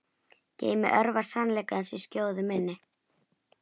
Geymi örvar sannleikans í skjóðu minni.